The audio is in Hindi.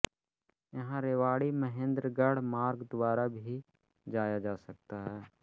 यहाँ रेवाड़ी महेन्द्रगढ मार्ग द्वारा भी जाया जा सकता है